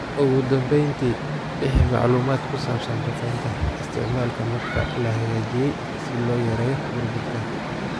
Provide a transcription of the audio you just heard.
"Ugu dambeyntii, bixi macluumaad ku saabsan duqeynta...isticmaalka madfac la hagaajiyay si loo yareeyo burburka."